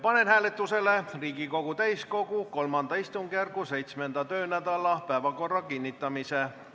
Panen hääletusele Riigikogu täiskogu III istungjärgu 7. töönädala päevakorra kinnitamise.